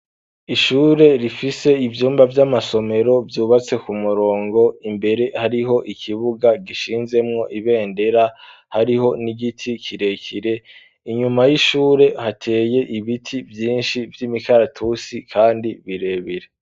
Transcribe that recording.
Ishure, rifise ivyumba, vy'amasomero, vyubatse ku murongo; imbere, hariho ikibuga, gishinzemwo ibendera; hariho n'igiti kirekire; inyuma y'ishure, hateye ibiti vyinshi, vy'imikaratusi, kandi birebire.